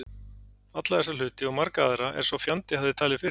Alla þessa hluti og marga aðra, er sá fjandi hafði talið fyrir